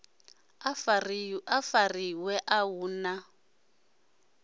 a fariwe a hu na